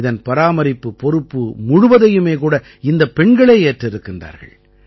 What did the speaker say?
இதன் பராமரிப்புப் பொறுப்பு முழுவதையுமே கூட இந்தப் பெண்களே ஏற்றிருக்கின்றார்கள்